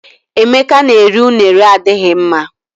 Emeka na-eri unere adighị mma.